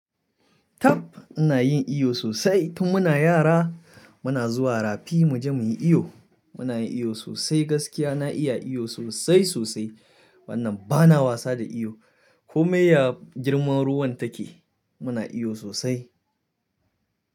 Ta! Ina yin iyo sosai. Tun muna yara muna zuwa rafi muje muyi iyo. Muna yin iyo sosai, gaskiya na iya iyo sosai sosai, wannan bana wasa da iyo. Komai ya girman ruwan take muna iyo sosai.